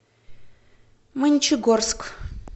мончегорск